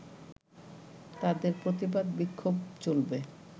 তাদের প্রতিবাদ-বিক্ষোভ চলবে